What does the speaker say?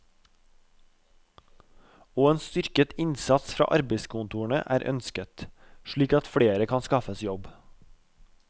Og en styrket innsats fra arbeidskontorene er ønsket, slik at flere kan skaffes jobb.